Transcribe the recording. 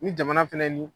Ni jamana fɛnɛ ni